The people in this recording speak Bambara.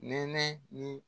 Nɛnɛ ni